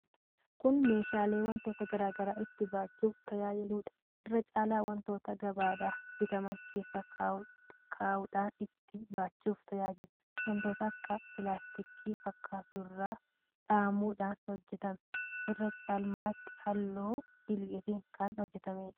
Kun meeshaalee wantoota garaa garaa itti baachuuf tajaajiluudha. Irra caalaatti wantoota gabaadhaa bitaman keessa kaa'uudhaan itti baachuuf tajaajila. Wanta akka pilaastikii fakkaatu irraa dhahamuudhaan hojjetama. Irra caalmaatti halluu dhiilgeedhaan kan hojjetameedha.